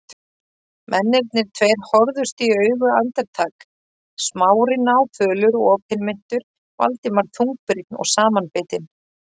Mennirnir tveir horfðust í augu andartak, Smári náfölur og opinmynntur, Valdimar þungbrýnn og samanbitinn.